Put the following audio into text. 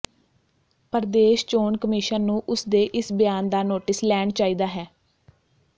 ਪ੍ਰਦੇਸ਼ ਚੋਣ ਕਮਿਸ਼ਨ ਨੂੰ ਉਸ ਦੇ ਇਸ ਬਿਆਨ ਦਾ ਨੋਟਿਸ ਲੈਣ ਚਾਹੀਦਾ ਹੈ